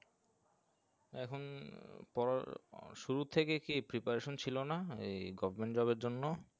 এখন পর শুরুতে থেকে কি preparation ছিলো না এই government job এর জন্য